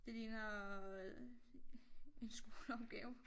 Det ligner øh en skoleopgave